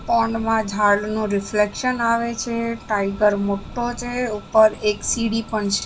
Pond માં ઝાડનું reflection આવે છે. ટાઇગર મોટો છે ઉપર એક સીડી પણ છે.